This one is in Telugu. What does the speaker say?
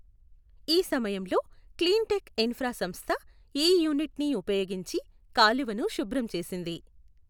ఈ సమయంలో క్లీన్టెక్ ఇన్ఫ్రా సంస్థ ఈ యూనిట్ను ఉపయోగించి కాలువను శుభ్రం చేసింది.